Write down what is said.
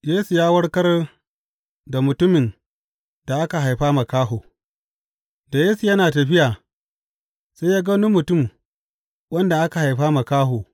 Yesu ya warkar da mutumin da aka haifa makaho Da Yesu yana tafiya, sai ya ga wani mutum wanda aka haifa makaho.